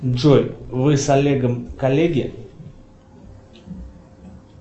джой вы с олегом коллеги